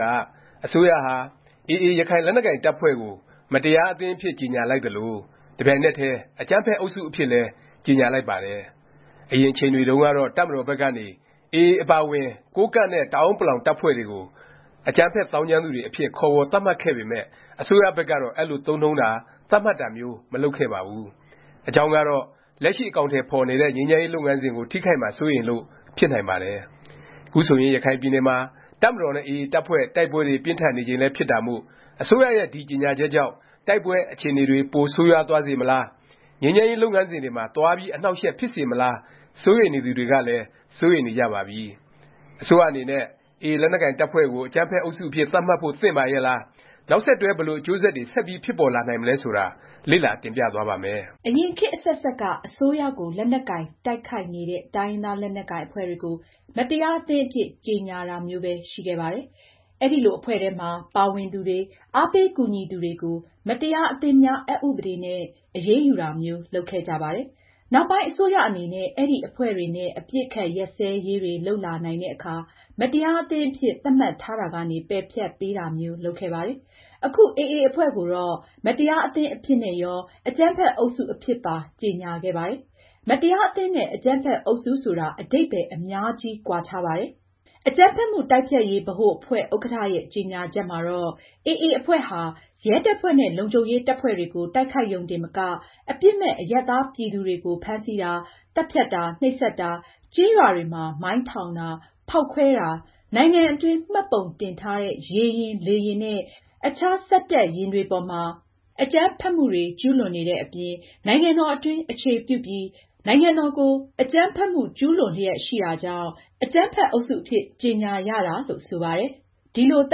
က အစိုးရဟာ AA ရခိုင်လက်နက်ကိုင် တပ်ဖွဲ့ကို မတရားအသင်း အဖြစ်ကြေငြာလိုက်သလို၊ တပြိုင်နက်တည်း အကြမ်းဖက် အုပ်စု အဖြစ်လည်း ကြေငြာလိုက်ပါတယ်။ အရင်အချိန်တွေတုန်းကတော့ တပ်မတော်ဘက်ကနေ AA အပါအဝင် ကိုးကန့်နဲ့ တအဲာန်းပလောင် တပ်ဖွဲ့တွေကို “ အကြမ်းဖက် သောင်းကျန်းသူ” တွေအဖြစ် ခေါ်ဝေါ် သတ်မှတ်ခဲ့ပေမယ့် အစိုးရဘက်ကတော့ အဲလို သုံးနှုန်းတာ၊ သတ်မှတ်တာမျိုး မလုပ်ခဲ့ပါဘူး။ အကြောင်းကတော့ လက်ရှိ အကောင်အထည် ဖော်နေတဲ့ ငြိမ်းချမ်းရေး လုပ်ငန်းစဉ်ကို ထိခိုက်မှာ စိုးရိမ်လို့ ဖြစ်နိုင်ပါတယ်။ ခုဆိုရင် ရခိုင်ပြည်နယ်မှာ တပ်မတော်နဲ့ AA တပ်ဖွဲ့ တိုက်ပွဲတွေ ပြင်းထန်နေချိန်လည်း ဖြစ်တာမို့ အစိုးရရဲ့ တိုက်ပွဲအခြေအနေတွေ ပိုဆိုးရွားသွားစေမလား၊ ငြိမ်းချမ်းရေး လုပ်ငန်းစဉ်တွေမှာ သွားပြီး အနှောင့်အယှက် ဖြစ်စေမလား စိုးရိမ်နေသူတွေကလည်း စိုးရိမ်နေကြပါပြီ။ အစိုးရအနေနဲ့ AA လက်နက်ကိုင် တပ်ဖွဲ့ကို အကြမ်းဖက် အုပ်စု အဖြစ် သတ်မှတ်ဖို့ သင့်ပါရဲ့လား၊ နောက်ဆက်တွဲ ဘယ်လို အကျိုးဆက်တွေ ဆက်ပြီး ဖြစ်ပေါ်လာနိုင်မလဲ ဆိုတာ လေ့လာ တင်ပြသွားပါ့မယ်။ အရင် ခေတ်အဆက်ဆက်က အစိုးရကို လက်နက်ကိုင်တိုက်ခိုက်နေတဲ့ တိုင်းရင်းသား လက်နက်ကိုင် အဖွဲ့တွေကို မတရားအသင်း အဖြစ် ကြေငြာတာမျိုးပဲ ရှိခဲ့ပါတယ်။ အဲလို အဖွဲ့ထဲမှာ ပါဝင်သူတွေ၊ အားပေး ကူညီသူတွေကို မတရားအသင်းများ အက်ဥပဒေနဲ့ အရေးယူတာမျိုး လုပ်ခဲ့ကြပါတယ်။ နောက်ပိုင်း အစိုးရအနေနဲ့ အဲဒီ အဖွဲ့တွေနဲ့ အပစ်အခတ် ရပ်စဲရေးတွေ လုပ်လာနိုင်တဲ့အခါ မတရားအသင်း အဖြစ် သတ်မှတ်ထားတာကနေ ပယ်ဖျက်ပေးတာမျိုး လုပ်ခဲ့ပါတယ်။ အခု AA အဖွဲ့ကိုတော့ မတရားအသင်း အဖြစ်နဲ့ရော အကြမ်းဖက် အုပ်စု အဖြစ်ပါ ကြေငြာခဲ့ပါတယ်။ မတရားအသင်း နဲ့ အကြမ်းဖက် အုပ်စုဆိုတာ အဓိပ္ပါယ် အများကြီး ကွာခြားပါတယ်။ အကြမ်းဖက်မှု တိုက်ဖျက်ရေး ဗဟိုအဖွဲ့ ဥက္ကဌ ရဲ့ ကြေငြာချက်မှာတော့ AA အဖွဲ့ဟာ ရဲတပ်ဖွဲ့နဲ့ လုံခြုံရေး တပ်ဖွဲ့တွေကို တိုက်ခိုက်ရုံတင်မက အပြစ်မဲ့ အရပ်သားပြည်သူတွေကို ဖမ်းဆီးတာ၊ သတ်ဖြတ်တာ၊ နှိပ်စက်တာ၊ ကျေးရွာတွေမှာ မိုင်းထောင်တာ၊ ဖေါက်ခွဲတာ၊ နိုင်ငံအတွင်း မှတ်ပုံတင်ထားတဲ့ ရေယာဉ်၊ လေယာဉ်နဲ့ အခြားစက်တပ်ယာဉ်တွေပေါ်မှာ အကြမ်းဖက်မှုတွေ ကျူးလွန်နေတဲ့အပြင် နိုင်ငံတော် အတွင်း အခြေပြုပြီး နိုင်ငံတော်ကို အကြမ်းဖက်မှု ကျူးလွန်လျက် ရှိတာကြောင့် အကြမ်းဖက် အုပ်စု ဒီလို သ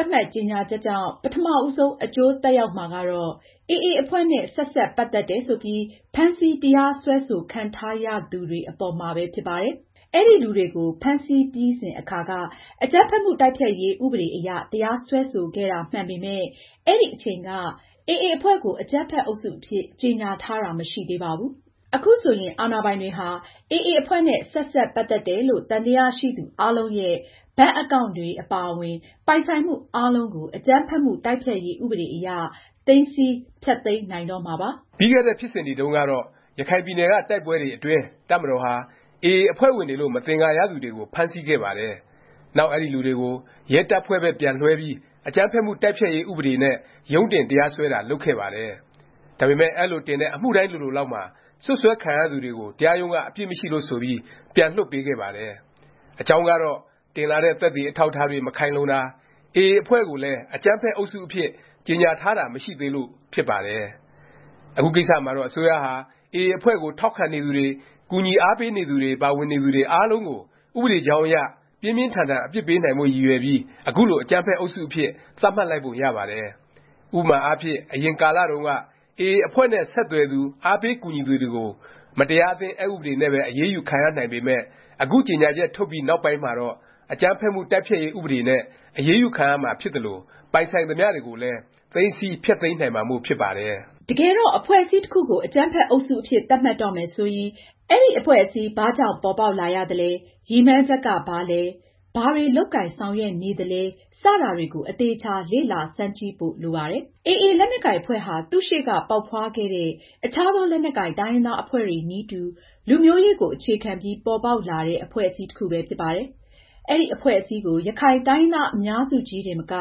တ်မှတ် ကြေငြာချက်ကြောင့် ပထမ ဦးဆုံး အကျိုးသက်ရောက်မှာကတော့ AA အဖွဲ့နဲ့ ဆက်စပ် ပတ်သက်တယ် ဆိုပြီး ဖမ်းဆီး တရားစွဲဆိုခံထားရသူတွေ အပေါ်မှာပဲ ဖြစ်ပါတယ်။ အဲဒီလူတွေကို ဖမ်းဆီးပြီးစဉ် အခါက အကြမ်းဖက်မှု တိုက်ဖျက်ရေး ဥပဒေ အရ တရားစွဲဆိုခဲ့တာ မှန်ပေမယ့် အဲဒီအချိန်က AA အဖွဲ့ကို အကြမ်းဖက်အုပ်စု အဖြစ် ကြေညာထားတာ မရှိသေးပါဘူး။ အခုဆိုရင် အာဏာပိုင်တွေဟာ AA အဖွဲ့နဲ့ ဆက်စပ် ပတ်သက်တယ်လို့ သံသယရှိသူ အားလုံးရဲ့ ဘဏ်အကောင့်န်တွေ အပါအဝင် ပိုင်ဆိုင်မှု အားလုံးကို အကြမ်းဖက်မှု တိုက်ဖျက်ရေး ဥပဒေအရ သိမ်းဆည်း၊ ဖျက်သိမ်းနိုင်တော့မှာပါ။ ပြီးခဲ့တဲ့ ဖြစ်စဉ်တွေတုန်းကတော့ ရခိုင်ပြည်နယ်က တိုက်ပွဲတွေအတွင်း တပ်မတော်ဟာ AA အဖွဲ့ဝင်တွေလို့ မသင်္ကာရသူတွေကို ဖမ်းဆီးခဲ့ပါတယ်။ နောက် အဲဒီ လူတွေကို ရဲတပ်ဖွဲ့ဘက် ပြန်လွဲှပေးပြီး အကြမ်းဖက်မှု တိုက်ဖျက်ရေး ဥပဒေနဲ့ ရုံးတင် တရားစွဲတာ လုပ်ခဲ့ပါတယ်။ ဒါပေမယ့် အဲလို တင်တဲ့ အမှုတိုင်းလိုလိုလောက်မှာ စွပ်စွဲခံရသူတွေကို တရားရုံးက အပြစ်မရှိလို့ ဆိုပြီး ပြန်လွှတ်ပေးခဲ့ပါတယ်။ အကြောင်းကတော့ တင်လာတဲ့ သက်သေ အထောက်အထားတွေ မခိုင်လုံတာ၊ AA အဖွဲ့ကိုလည်း အကြမ်းဖက် အုပ်စုအဖြစ် ကြေငြာထားတာ မရှိသေးလို့ ဖြစ်ပါတယ်။ အခုကိစ္စမှာတော့ အစိုးရဟာ AA အဖွဲ့ကို ထောက်ခံနေသူတွေ၊ ကူညီအားပေးနေသူတွေ၊ ပါဝင်နေသူတွေ အားလုံးကို ဥပဒေကြောင်းအရ ပြင်းပြင်းထန်ထန် အပြစ်ပေးနိုင်ဖို့ ရည်ရွယ်ပြီး အခုလို အကြမ်းဖက် အုပ်စုအဖြစ် သတ်မှတ်လိုက်ပုံရပါတယ်။ ဥပမာအားဖြင့် အရင်ကာလတုန်းက AA အဖွဲ့နဲ့ ဆက်သွယ်သူ၊ အားပေးကူညီသူတွေကို မတရားအသင်း အက်ဥပဒေနဲ့ပဲ အရေးယူခံရနိုင်ပေမယ့် အခု ကြေငြာချက် ထုတ်ပြီးနောက်ပိုင်းမှာတော့ အကြမ်းဖက်မှု တိုက်ဖျက်ရေး ဥပဒေနဲ့ အရေးယူ ခံရမှာဖြစ်သလို ပိုင်ဆိုင်သမျှတွေကိုလည်း သိမ်းဆည်း၊ ဖျက်သိမ်းနိုင်မှာမို့ ဖြစ်ပါတယ်။ တကယ်တော့ အဖွဲ့အစည်း တစ်ခုကို အကြမ်းဖက် အုပ်စုအဖြစ် သတ်မှတ်တော့မယ် ဆိုရင် အဲဒီအဖွဲ့အစည်း ဘာကြောင့် ပေါ်ပေါက်လာရသလဲ၊ ရည်မှန်းချက်က ဘာလဲ၊ ဘာတွေ လုပ်ကိုင်ဆောင်ရွက်နေသလဲ စတာတွေကို အသေအခြာ လေ့လာဆန်းစစ်ကြည့်ဖို့ လိုပါတယ်။ AA လက်နက်ကိုင် အဖွဲ့ဟာ သူ့ရှေ့က ပေါက်ဖွားခဲ့တဲ့ အခြားသော လက်နက်ကိုင် တိုင်းရင်းသား အဖွဲ့တွေနည်းတူ လူမျိုးရေးကို အခြေခံပြီး ပေါ်ပေါက်လာတဲ့ အဖွဲ့အစည်း တစ်ခုပဲဖြစ်ပါတယ်။ အဲဒီအဖွဲ့အစည်းကို ရခိုင်တိုင်းရင်းသား အများစုကြီးတင်မက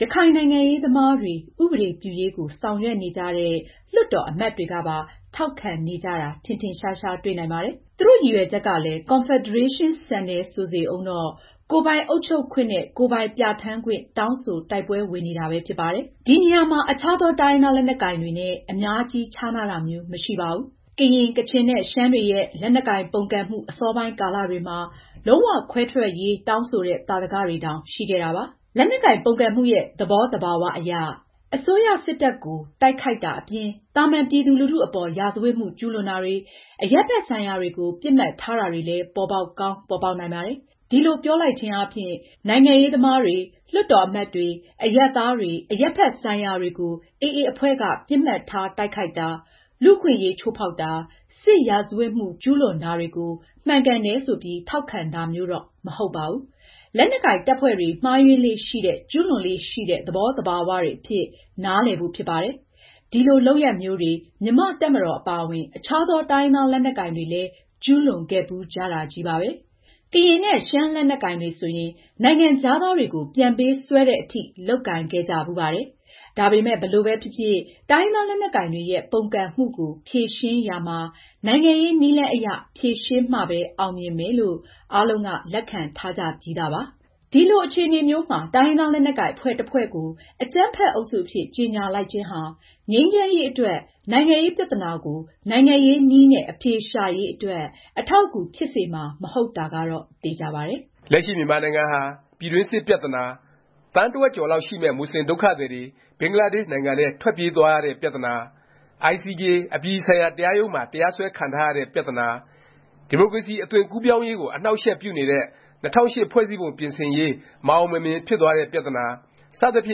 ရခိုင်နိုင်ငံရေးသမားတွေ၊ ဥပဒေပြုရေးကို ဆောင်ရွက်နေကြတဲ့ လွှတ်တော် အမတ်တွေကပါ ထောက်ခံနေကြတာ ထင်ထင်ရှားရှား တွေ့နိုင်ပါတယ်။ သူတို့ ရည်ရွယ်ချက်ကလည်း ကွန်ဖက်ဒရေးရှင်း ဆန်တယ် ဆိုစေဦးတော့ ကိုယ်ပိုင်အုပ်ချုပ်ခွင့်နဲ့ ကိုယ်ပိုင်ပြဌာန်းခွင့် တောင်းဆို တိုက်ပွဲဝင်နေတာပဲ ဖြစ်ပါတယ်။ ဒီနေရာမှာ အခြားသော တိုင်းရင်းသား လက်နက်ကိုင်တွေနဲ့ အများကြီး ခြားနားတာမျိုး မရှိပါဘူး။ ကရင်၊ ကချင် နဲ့ ရှမ်းတွေရဲ့ လက်နက်ကိုင် ပုန်ကန်မှု အစောပိုင်းကာလတွေမှာ လုံး၀ ခွဲထွက်ရေး တောင်းဆိုတဲ့ သာဓကတွေတောင် ရှိခဲ့တာပါ။ လက်နက်ကိုင် ပုန်ကန်မှုရဲ့ သဘောသဘာ၀ အရ အစိုးရ စစ်တပ်ကို တိုက်ခိုက်တာ အပြင် သာမန်ပြည်သူလူထု အပေါ် ရာဇဝတ်မှု ကျူးလွန်တာတွေ၊ အရပ်ဘက် ဆိုင်ရာတွေကို ပစ်မှတ်ထားတာတွေလည်း ပေါ်ပေါက်ကောင်း ပေါ်ပေါက်နိုင်ပါတယ်။ ဒီလို ပြောလိုက်ခြင်းအားဖြင့် AA အဖွဲ့ရဲ့ နိုင်ငံရေးသမားတွေ၊ လွှတ်တော် အမတ်တွေ၊ အရပ်သားတွေ၊ အရပ်ဘက်ဆိုင်ရာတွေကို ပစ်မှတ်ထား တိုက်ခိုက်တာ၊ လူ့အခွင့်အရေး ချိုးဖေါက်တာ၊ စစ်ရာဇဝတ်မှု ကျူးလွန်တာတွေကို မှန်ကန်တယ် ဆိုပြီး ထောက်ခံတာမျိုးတော့ မဟုတ်ပါဘူး။ လက်နက်ကိုင် တပ်ဖွဲ့တွေ မှားယွင်းလေ့ရှိတဲ့ ကျူးလွန်လေ့ရှိတဲ့ သဘောသဘာဝတွေ အဖြစ်၊ နားလည်ဖို့ ဖြစ်ပါတယ်။ ဒီလို လုပ်ရပ်မျိုးတွေ မြန်မာ့ တပ်မတော် အပါအဝင် အခြားသော တိုင်းရင်းသား လက်နက်ကိုင်တွေလည်း ကျူးလွန်ခဲ့ဖူးကြတာချည်းပါပဲ။ ကရင်နဲ့ ရှမ်းလက်နက်ကိုင်တွေ ဆိုရင် နိုင်ငံခြားသားတွေကို ပြန်ပေးဆွဲသည် အထိ လုပ်ကိုင်ခဲ့ကြဖူးပါတယ်။ ဒါပေမယ့် ဘယ်လိုပဲဖြစ်ဖြစ် တိုင်းရင်းသား လက်နက်ကိုင်တွေရဲ့ ပုန်ကန်မှုကို ဖြေရှင်းရာမှာ နိုင်ငံရေးနည်းလမ်းအရ ဖြေရှင်းမှပဲ အောင်မြင်နိုင်မယ်လို့ အားလုံးက လက်ခံထားကြပြီးသားပါ။ ဒီလို အခြေအနေမျိုးမှာ တိုင်းရင်းသား လက်နက်ကိုင် အဖွဲ့တစ်ဖွဲ့ကို အကြမ်းဖက် အုပ်စုအဖြစ် ကြေငြာလိုက်ခြင်းဟာ ငြိမ်းချမ်းရေး အတွက်၊ နိုင်ငံရေး ပြသနာကို နိုင်ငံရေးနည်းနဲ့ အဖြေရှာရေး အတွက် အထောက်အကူ ဖြစ်စေမှာ မဟုတ်တာကတော့ သေခြာပါတယ်။ လက်ရှိ မြန်မာနိုင်ငံဟာ ပြည်တွင်းစစ် ပြသနာ၊ သန်းတစ်ဝက်ကျော်လောက် ရှိမယ့် မူဆလင် ဒုက္ခသည်တွေ ဘင်္ဂလားဒေ့ရှ်နိုင်ငံထဲ ထွက်ပြေးသွားရတဲ့ ပြသနာ၊ ICJ အပြည်ပြည်ဆိုင်ရာ တရားရုံးမှာ တရားစွဲခံထားရတဲ့ ပြသနာ၊ ဒီမိုကရေစီ အသွင်ကူးပြောင်းရေးကို အနှောင့်အယှက်ပြုနေတဲ့ ၂၀၀၈ ဖွဲ့စည်းပုံပြင်ဆင်ရေး မအောင်မမြင်ဖြစ်သွားတဲ့ ပြသနာ စသဖြ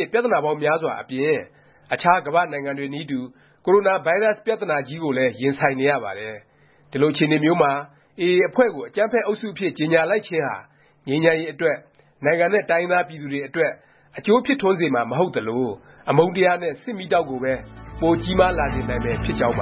င့် ပြသနာပေါင်းများစွာအပြင် အခြား ကမ္ဘာ့နိုင်ငံတွေနည်းတူ ကိုရိုနာဗိုင်းရပ်စ် ပြသနာကြီးကိုလည်း ရင်ဆိုင်နေရပါတယ်။ ဒီလို အခြေအနေမျိုးမှာ AA အဖွဲ့ကို အကြမ်းဖက် အုပ်စုအဖြစ် ကြေငြာလိုက်ခြင်းဟာ ငြိမ်းချမ်းရေး အတွက်၊ နိုင်ငံနဲ့ တိုင်းရင်းသား ပြည်သူတွေ အတွက် အကျိုးဖြစ်ထွန်းစေမှာ မဟုတ်သလို အမုန်းတရားနဲ့ စစ်မီးတောက်ကိုပဲ ပိုကြီးမားလာစေနိုင်မယ် ဖြစ်ကြောင်းပါ